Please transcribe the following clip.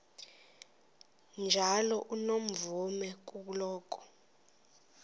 njalo unomvume kuloko